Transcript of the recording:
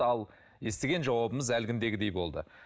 ал естіген жауабымыз әлгіндегіндей болды